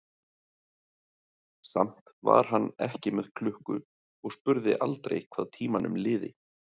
Samt var hann ekki með klukku og spurði aldrei hvað tímanum liði.